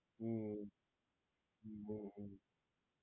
હમ્મ right